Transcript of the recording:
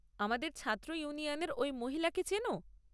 আমাদের ছাত্র ইউনিয়নের ওই মহিলাকে চেনো?